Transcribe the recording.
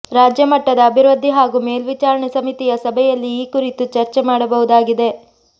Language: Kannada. ರಾಜ್ಯ ಮಟ್ಟದ ಅಭಿವೃದ್ಧಿ ಹಾಗೂ ಮೇಲ್ವಿಚಾರಣೆ ಸಮಿತಿಯ ಸಭೆಯಲ್ಲಿ ಈ ಕುರಿತು ಚರ್ಚೆ ಮಾಡಬಹುದಾಗಿದೆ